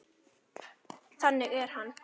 Þannig er hann.